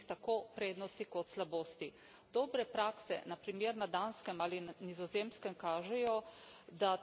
Dobre prakse, na primer na Danskem ali Nizozemskem kažejo, da trajnostna mobilnost ni utopija.